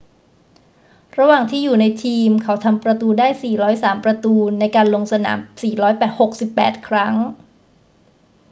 ระหว่างที่อยู่ในทีม เขาทำประตูได้ 403 ประตูในการลงสนาม 468 ครั้ง